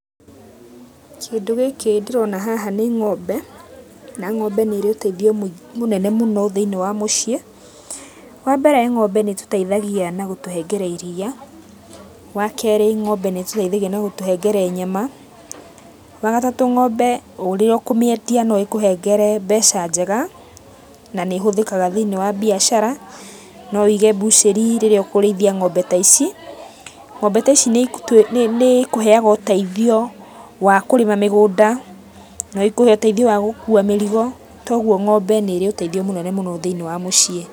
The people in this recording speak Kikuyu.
Kĩndũ gĩkĩ ndĩrona haha nĩ ngo'mbe na ngo'mbe nĩrĩ ũteithio mũnene mũno thĩiniĩ wa mũciĩ, wa mbere ngo'mbe nĩ ĩtũteithagia na gũtũhengere iria, wa kerĩ ngo'mbe nĩ ĩtũteithagia na gũtũhengere nyama, wa gatatũ ngo'mbe ũrĩa ũkũmĩendia no ĩkũhengere mbeca njega na nĩ ĩhũthĩkaga thĩiniĩ wa mbiacara, no ũige mbucĩri rĩrĩa ũkũrĩithia ngo'mbe ta ici. Ngo'mbe ta ici nĩ ĩkũheaga ũteithio wa kũrĩma mĩgũnda, no ikũhe ũteithio wa gũkuua mĩrigo, toguo ngo'mbe nĩrĩ ũteithio mũnene mũno thĩiniĩ wa mũciĩ,